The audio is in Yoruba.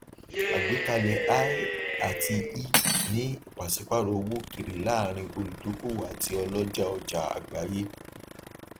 àgbékalẹ i àti e ní ipasipaarọ owó okere láàrín olùdóókòwò àti oloja ọjà àgbáyé